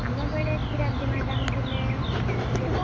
ଆମ ବେଲେ ଥିଲେ କ୍ଷୀରାପ୍ତି madam ଥିଲେ